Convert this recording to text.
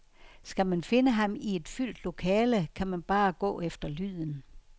Skal man finde ham i et fyldt lokale, kan man bare gå efter lyden.